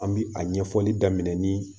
An bi a ɲɛfɔli daminɛ ni